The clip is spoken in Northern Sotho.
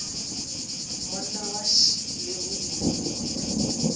monna wa š le boima